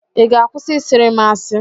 ị ga-akwụsị ị sịịrị m asị?